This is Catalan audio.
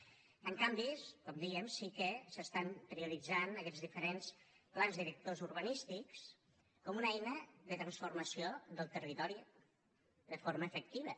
en canvi com dèiem sí que s’estan prioritzant aquests diferents plans directors urbanístics com una eina de transformació del territori de forma efectiva